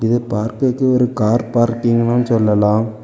இது பார்க்கர்கெ ஒரு கார் பார்க்கிங்னு சொல்லலாம்.